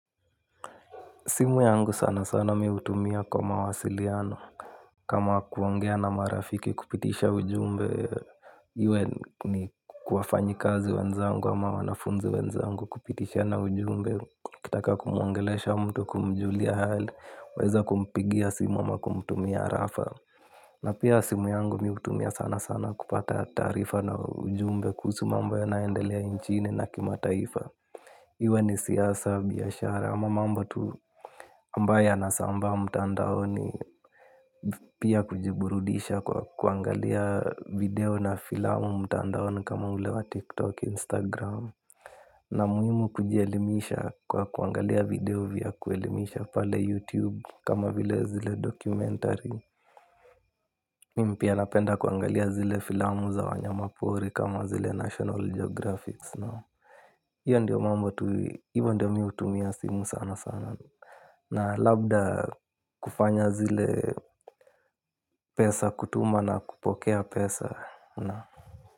Simu yangu sana sana miutumia kwa mawasiliano. Kama kuongea na marafiki kupitisha ujumbe, iwe ni kwa wafanyi kazi wenzangu ama wanafunzi wenzangu kupitisha na ujumbe. ukitaka kumuongelesha mtu kumjulia hali, waeza kumpigia simu ama kumtumia rafa. Na pia simu yangu miutumia sana sana kupata taarifa na ujumbe kuhusu ma mbo ya nayoendelea inchini na kimataifa. Iwe ni siasa biashara. Ama mambo tu ambaye yanasambaa mtandaoni. Pia kujiburudisha kwa kuangalia video na filamu mtandaoni kama ule wa TikTok, Instagram. Na muhimu kujielimisha kwa kuangalia video vya kuelimisha pale YouTube Kama vile zile documentary. Mimi pia napenda kuangalia zile filamu za wanyama pori kama zile National Geographic. Iyo ndio mambo tu, ivo ndio miutumia simu sana sana. Na labda kufanya zile pesa kutuma na kupokea pesa na.